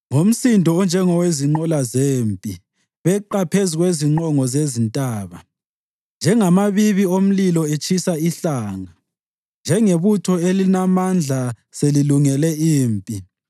Ngomsindo onjengowezinqola zempi, beqa phezu kwezingqongo zezintaba, njengamabibi omlilo etshisa inhlanga, njengebutho elilamandla selilungele impi.